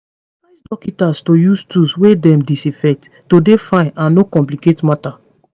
dem advice dokita's to use tools wey dem disinfect to dey fine and no complicate matter